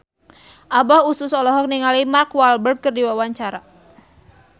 Abah Us Us olohok ningali Mark Walberg keur diwawancara